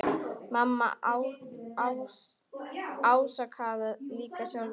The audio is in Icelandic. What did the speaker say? Mamma ásakaði líka sjálfa sig.